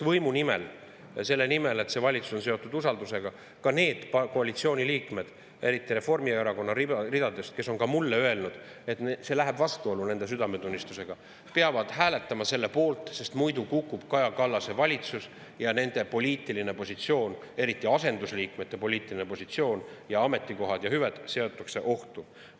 Võimu nimel, seetõttu, et see on seotud usaldus, ka need koalitsiooni liikmed, eriti Reformierakonna ridadest, kes on ka mulle öelnud, et see läheb vastuollu nende südametunnistusega, peavad hääletama selle poolt, sest muidu kukub Kaja Kallase valitsus ja nende poliitiline positsioon, eriti asendusliikmete poliitiline positsioon ja ametikohad ja hüved seatakse ohtu.